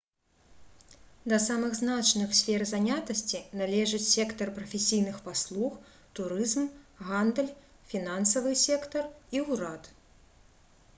да самых значных сфер занятасці належыць сектар прафесійных паслуг турызм гандаль фінансавы сектар і ўрад